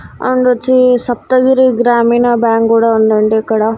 And వచ్చి Saptagiri Grameena bank కూడా ఉందండి ఇక్కడ.